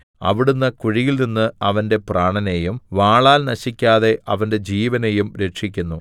അവിടുന്ന് കുഴിയിൽനിന്ന് അവന്റെ പ്രാണനെയും വാളാൽ നശിക്കാതെ അവന്റെ ജീവനെയും രക്ഷിക്കുന്നു